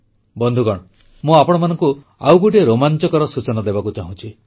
ବନ୍ଧୁଗଣ ମୁଁ ଆପଣମାନଙ୍କୁ ଆଉ ଗୋଟିଏ ରୋମାଂଚକର ସୂଚନା ଦେବାକୁ ଚାହୁଁଛି